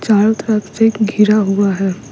चारों तरफ से घिरा हुआ है --